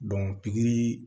pikiri